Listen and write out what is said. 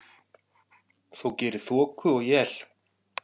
þó geri þoku og él.